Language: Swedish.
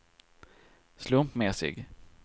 slumpmässig